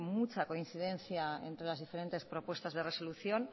mucha coincidencia entre las diferentes propuestas de resolución